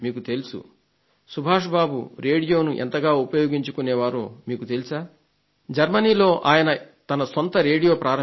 శ్రీ సుభాష్ బాబు రేడియోను ఎంతగా ఉపయోగించుకునేవారో మీకు తెలుసా జర్మనీలో ఆయన తన సొంత రేడియోను ప్రారంభించారు